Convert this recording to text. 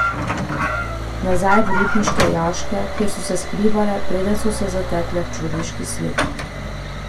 Nazaj v rudniške jaške, kjer so se skrivale, preden so se zatekle v človeški svet?